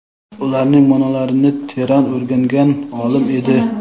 ularning ma’nolarini teran o‘rgangan olim edi.